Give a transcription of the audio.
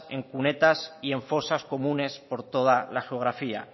en cunetas y en fosas comunes por toda la geografía